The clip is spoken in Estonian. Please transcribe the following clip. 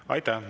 Aitäh!